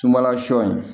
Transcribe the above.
Sunbala sɔ in